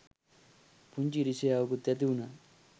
පුංචි ඉරිසියාවකුත් ඇතිවුනා.